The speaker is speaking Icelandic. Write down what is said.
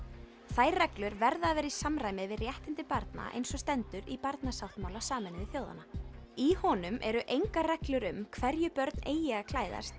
þær reglur verða að vera í samræmi við réttindi barna eins og stendur í barnasáttmála Sameinuðu þjóðanna í honum eru engar reglur um hverju börn eigi að klæðast